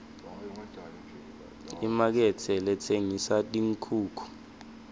imakethe letsengisa tinkhukhu